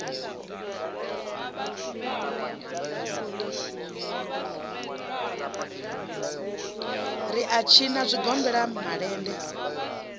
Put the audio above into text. ri u tshinwa zwigombela malende